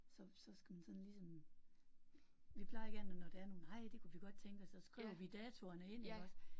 Så så skal man sådan ligesom. Vi plejer gerne når der er noget nej det kunne vi godt tænke os så skriver vi datoerne ind iggås